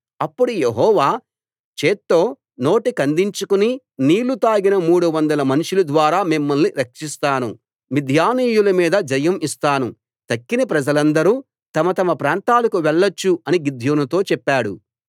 అప్పుడు యెహోవా చేత్తో నోటికందించుకుని నీళ్ళు తాగిన మూడు వందల మనుషుల ద్వారా మిమ్మల్ని రక్షిస్తాను మిద్యానీయుల మీద జయం ఇస్తాను తక్కిన ప్రజలందరూ తమ తమ ప్రాంతాలకు వెళ్ళొచ్చు అని గిద్యోనుతో చెప్పాడు